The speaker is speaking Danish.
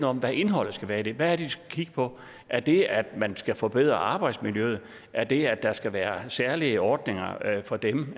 om hvad indholdet skal være af den hvad er det de skal kigge på er det at man skal forbedre arbejdsmiljøet er det at der skal være særlige ordninger for dem